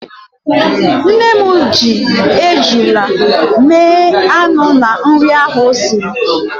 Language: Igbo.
Nne m ji ejula mee anụ na nri ahụ o siri.